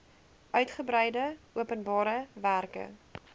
uitgebreide openbare werke